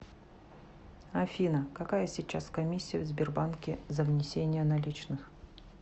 афина какая сейчас комиссия в сбербанке за внесение наличных